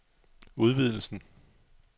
udvidelsen